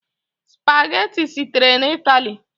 Spageti sitere na Italy.